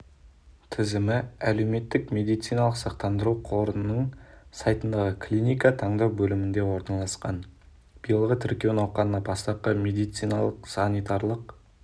тізімі әлеуметтік медициналық сақтандыру қорының сайтындағы клиника таңдау бөлімінде орналасқан биылғы тіркеу науқанына бастапқы медициналық-санитарлық